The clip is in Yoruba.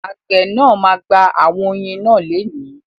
Àgbẹ̀ náà ma gba àwọn oyin náà lénìí.